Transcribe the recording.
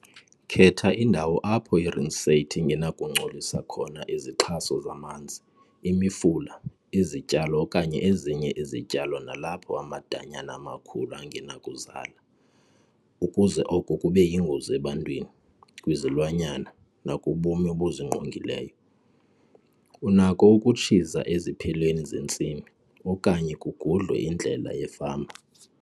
Khetha indawo apho i-rinsate ingenakungcolisa khona izixhaso zamanzi, imifula, izityalo okanye ezinye izityalo nalapho amadanyana amakhulu angenakuzala, ukuze oko kube yingozi ebantwini, kwizilwanyana nakubume obuzingqongileyo. Unakho ukutshiza eziphelweni zentsimi, okanye kugudlwe indlela yefama.